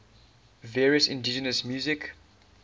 various indigenous music